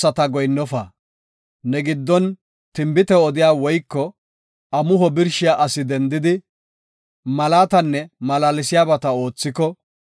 Ne giddon tinbite odiya woyko amuho birshiya asi dendidi, malaatanne malaalsiyabata oothiko,